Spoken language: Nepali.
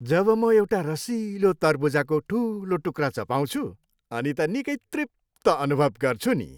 जब म एउटा रसिलो तरबुजाको ठुलो टुक्रा चपाउँछु अनि त निकै तृप्त अनुभव गर्छु नि।